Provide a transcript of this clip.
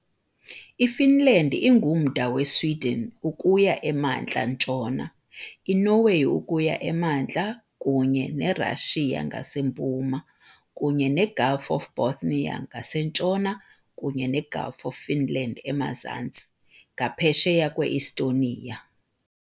IFinland ingumda weSweden ukuya emantla-ntshona, iNorway ukuya emantla, kunye neRashiya ngasempuma, kunye neGulf of Bothnia ngasentshona kunye neGulf of Finland emazantsi, ngaphesheya kwe-Estonia.